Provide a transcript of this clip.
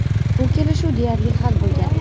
Bu kelishuv deyarli hal bo‘lgan.